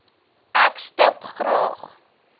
ek stip graag